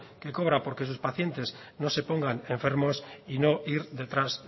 que cobra porque sus pacientes no se pongan enfermos y no ir detrás